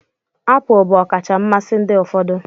Apụl bụ ọkacha mmasị ndị ụfọdụ